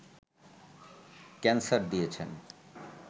cancer দিয়েছেন